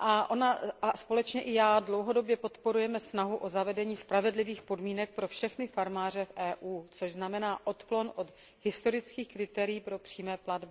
Tato zpráva jako i já dlouhodobě podporujeme snahu o zavedení spravedlivých podmínek pro všechny farmáře v EU, což znamená odklon od historických kritérií pro přímé platby.